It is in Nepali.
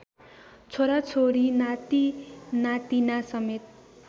छोराछोरी नातिनातिना समेत